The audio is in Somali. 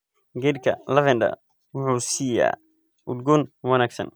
Geedka lavender wuxuu siiyaa udgoon wanaagsan.